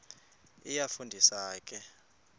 iyafu ndisa ke